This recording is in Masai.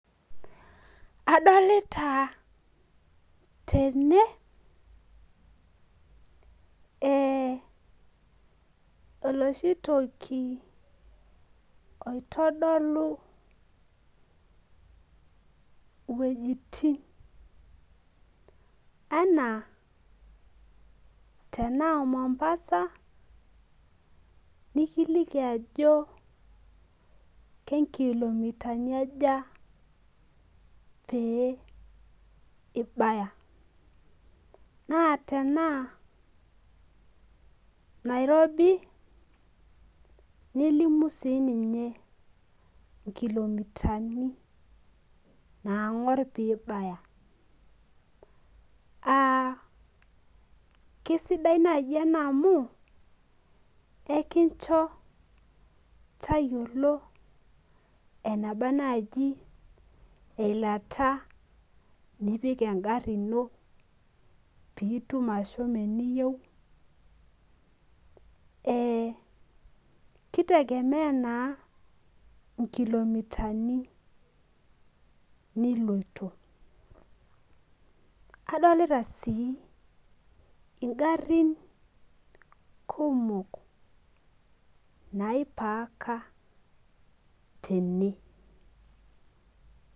Adolita tene, oloshi toki oitodolu wuejiting enaa tenaa Mombasa, nikiliki ajo tenkilomitani aja pee ibaya. Naa tenaa Nairobi, nelimu si ninye nkilomitani nang'or pibaya. Ah kesidai naji ena amu, kekincho tayiolo enaba naji eilata nipik egarri ino, pitum ashomo eniyieu. Ki tegemea naa inkilomitani niloito. Kadolita si igarrin kumok naipaaka tene.